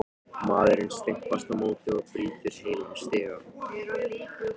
Maðurinn stimpast á móti og brýtur heilan stiga!